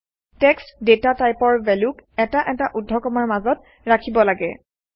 text data টাইপৰ ভেল্যুক এটা এটা ঊৰ্ধ্বকমাৰ মাজত ৰাখিব লাগে